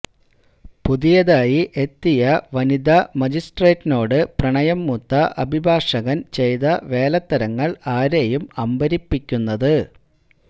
പുതിയതായി എത്തിയ വനിതാ മജിസ്ട്രേറ്റിനോട് പ്രണയം മൂത്ത അഭിഭാഷകൻ ചെയ്ത വേലത്തരങ്ങൾ ആരേയും അമ്പരപ്പിക്കുന്നത്